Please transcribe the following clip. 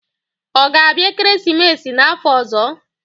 Ọ ga-abịa ekeresimesi n'afọ ọzọ?